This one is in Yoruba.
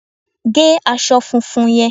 Gé aṣọ funfun yẹn!